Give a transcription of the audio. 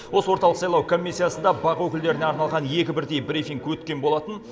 осы орталық сайлау комиссиясында бақ өкілдеріне арналған екі бірдей брифинг өткен болатын